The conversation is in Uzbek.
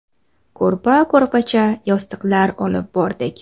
Ko‘rpa-ko‘rpacha, yostiqlar olib bordik.